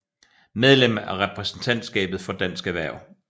Medlem af repræsentantskabet for Dansk Erhverv